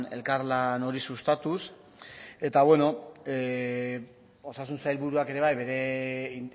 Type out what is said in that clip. elkarlan hori sustatuz eta osasun sailburuak ere bai